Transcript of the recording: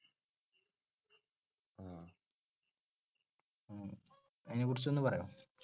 അതിനെ കുറിച്ചൊന്ന് പറയൊ?